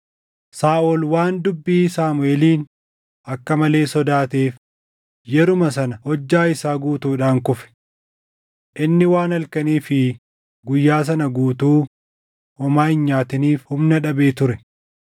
Saaʼol waan dubbii Saamuʼeeliin akka malee sodaateef yeruma sana hojjaa isaa guutuudhaan kufe. Inni waan halkanii fi guyyaa sana guutuu homaa hin nyaatiniif humna dhabee ture.